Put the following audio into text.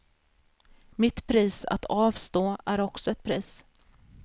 Mitt pris att avstå är också ett pris.